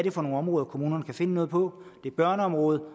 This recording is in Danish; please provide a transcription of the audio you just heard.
er for nogle områder kommunerne kan finde noget på det er børneområdet